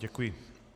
Děkuji.